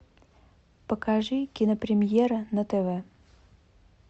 покажи кинопремьера на тв